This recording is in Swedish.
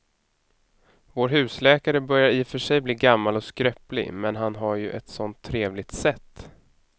Vår husläkare börjar i och för sig bli gammal och skröplig, men han har ju ett sådant trevligt sätt!